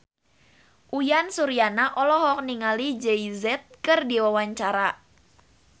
Uyan Suryana olohok ningali Jay Z keur diwawancara